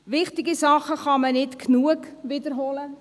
Wichtige Dinge kann man nicht oft genug wiederholen.